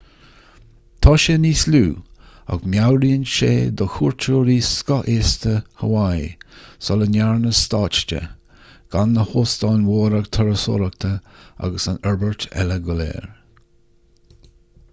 tá siad níos lú ach meabhraíonn sé do chuairteoirí scothaosta haváí sula ndearnadh stát de gan na hóstáin mhóra turasóireachta agus an fhorbairt eile go léir